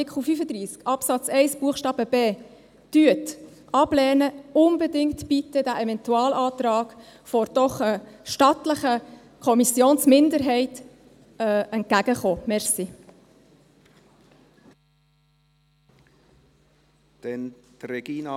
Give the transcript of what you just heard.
Falls Sie Artikel 35 Absatz 1 Buchstabe b ablehnen, kommen Sie bitte mit dem Eventualantrag einer doch stattlichen Kommissionsminderheit unbedingt entgegen.